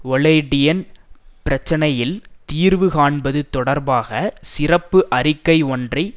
ஒலெடியன் பிரச்சனையில் தீர்வு காண்பது தொடர்பாக சிறப்பு அறிக்கை ஒன்றை